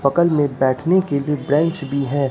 पकल में बैठने के लिए ब्रेंच भी है।